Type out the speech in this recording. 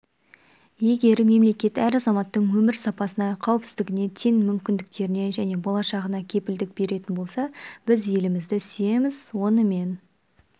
егер мемлекет әр азаматтың өмір сапасына қауіпсіздігіне тең мүмкіндіктеріне және болашағына кепілдік беретін болса біз елімізді сүйеміз онымен